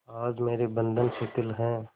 आज मेरे बंधन शिथिल हैं